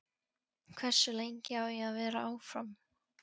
Hversu lengi á ég að vera áfram?